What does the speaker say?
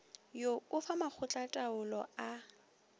wo o fa makgotlataolo a